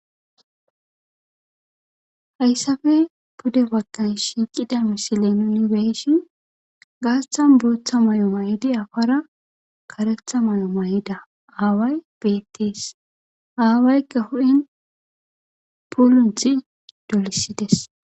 hayssafe pude wagkay shiiqida misile nunibeshin gaasthan burotha may7o may7idi afara karetha may7o may7ida aaway bettees aawaykka hu7in pulunthi dolisides